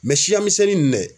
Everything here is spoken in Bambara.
siya misɛnnin ninnu dɛ